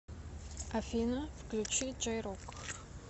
афина включи джей рок